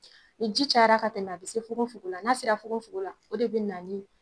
Ni ji cayara ka tɛmɛ a bi se fugonfugon la, n'a sera fugonfugon la, o de bina ni